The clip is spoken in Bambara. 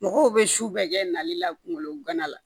Mɔgɔw bɛ su bɛɛ kɛ nali la kungolo gana la